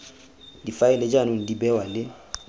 difaele jaanong di bewa le